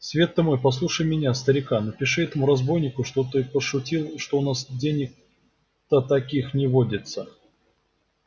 свет ты мой послушай меня старика напиши этому разбойнику что ты пошутил что у нас денег-то таких не водится